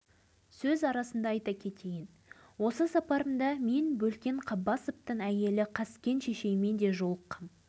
біз өзіміз де қой сияқты момын халықпыз үндемей жүре береміз өстіп жүріп қырылып біткенімізді де байқамай